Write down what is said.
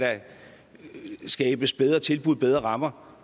skabes bedre tilbud bedre rammer